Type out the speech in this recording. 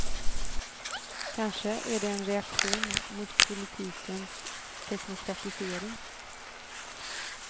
Kanske är det en reaktion mot politikens teknokratisering?